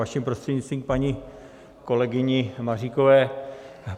Vaším prostřednictvím k paní kolegyni Maříkové.